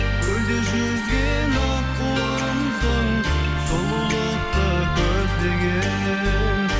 көлде жүзген аққуымсың сұлулықты көздеген